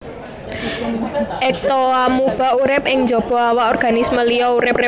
Ektoamuba urip ing jaba awak organisme liya urip bébas